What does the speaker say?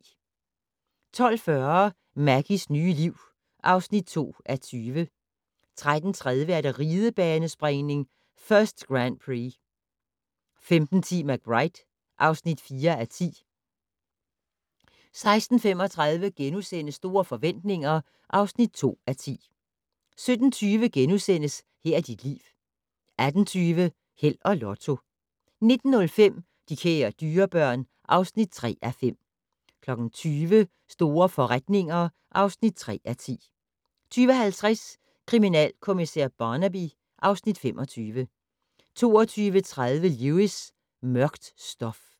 12:40: Maggies nye liv (2:20) 13:30: Ridebanespringning: First Grand Prix 15:10: McBride (4:10) 16:35: Store forretninger (2:10)* 17:20: Her er dit liv * 18:20: Held og Lotto 19:05: De kære dyrebørn (3:5) 20:00: Store forretninger (3:10) 20:50: Kriminalkommissær Barnaby (Afs. 25) 22:30: Lewis: Mørkt stof